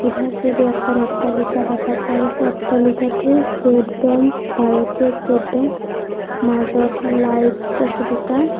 চিধা চিধি এখন অট্টালিকা দেখা পোৱা গৈছে অট্টালিকাটো ষ্টেট বেংক ভাৰতীয় ষ্টেট বেংক মাজত লাইট আছে দুটা।